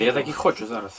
Mən indi elələrini istəyirəm.